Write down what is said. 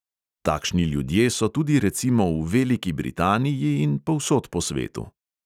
Takšni ljudje so tudi recimo v veliki britaniji in povsod po svetu.